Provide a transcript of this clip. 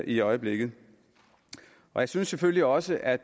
i øjeblikket og jeg synes selvfølgelig også at